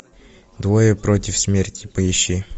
двое против смерти поищи